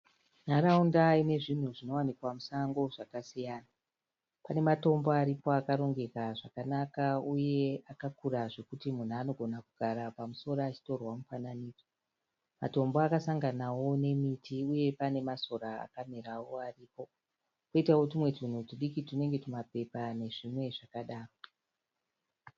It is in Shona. Nharaunda inezvinhu zvinowanikwa musango zvakasiyans. Kune matombo aripo akarongeka zvakanaka uye akakura zvekuti munhu anogona kugara pamusoro achitorwa mufananidzo. Matombo akasanganawo nemiti uye panemasora akamirawo aripo koutawo tunhu tunenge mapepa nezvimwezvakadaro.